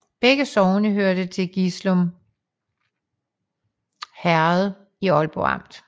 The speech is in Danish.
Begge sogne hørte til Gislum Herred i Aalborg Amt